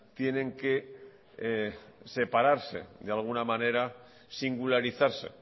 tienen que separarse de alguna manera singularizarse